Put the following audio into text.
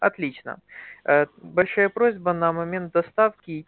отлично большая просьба на момент доставки